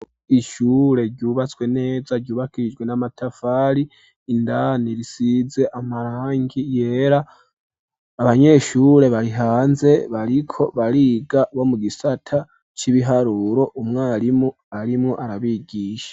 Ishure ryubatswe neza, ryubakishijwe n’amatafari, indani risize, amarangi yera, abanyeshure bari hanze, bariko bariga, bo mu gisata c’ibiharuro; umwarimu arimwo, arabigisha.